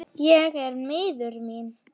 Ég er miður mín.